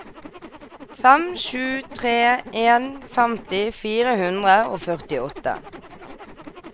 fem sju tre en femti fire hundre og førtiåtte